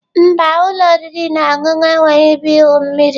Mba, ụlọ oriri na ọṅụṅụ a enweghị ebe igwu mmiri.